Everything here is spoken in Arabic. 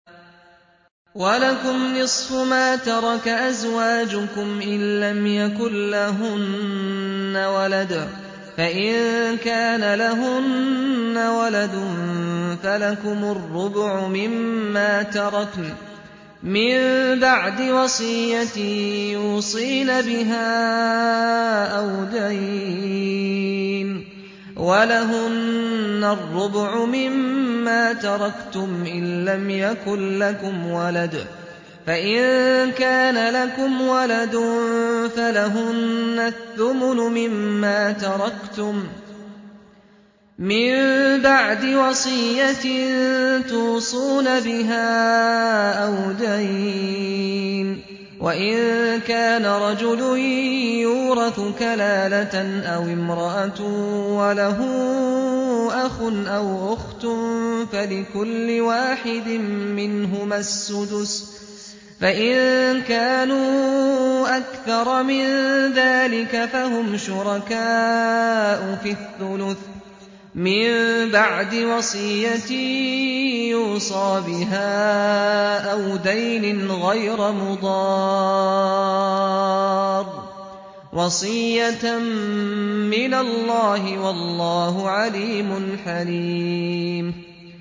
۞ وَلَكُمْ نِصْفُ مَا تَرَكَ أَزْوَاجُكُمْ إِن لَّمْ يَكُن لَّهُنَّ وَلَدٌ ۚ فَإِن كَانَ لَهُنَّ وَلَدٌ فَلَكُمُ الرُّبُعُ مِمَّا تَرَكْنَ ۚ مِن بَعْدِ وَصِيَّةٍ يُوصِينَ بِهَا أَوْ دَيْنٍ ۚ وَلَهُنَّ الرُّبُعُ مِمَّا تَرَكْتُمْ إِن لَّمْ يَكُن لَّكُمْ وَلَدٌ ۚ فَإِن كَانَ لَكُمْ وَلَدٌ فَلَهُنَّ الثُّمُنُ مِمَّا تَرَكْتُم ۚ مِّن بَعْدِ وَصِيَّةٍ تُوصُونَ بِهَا أَوْ دَيْنٍ ۗ وَإِن كَانَ رَجُلٌ يُورَثُ كَلَالَةً أَوِ امْرَأَةٌ وَلَهُ أَخٌ أَوْ أُخْتٌ فَلِكُلِّ وَاحِدٍ مِّنْهُمَا السُّدُسُ ۚ فَإِن كَانُوا أَكْثَرَ مِن ذَٰلِكَ فَهُمْ شُرَكَاءُ فِي الثُّلُثِ ۚ مِن بَعْدِ وَصِيَّةٍ يُوصَىٰ بِهَا أَوْ دَيْنٍ غَيْرَ مُضَارٍّ ۚ وَصِيَّةً مِّنَ اللَّهِ ۗ وَاللَّهُ عَلِيمٌ حَلِيمٌ